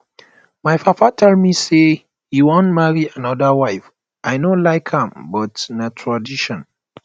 my papa tell me say he wan marry another wife i no like am but na tradition